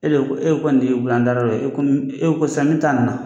E de ko e kɔni y'e bolo yan dara e ko ni e ko sanni ta nana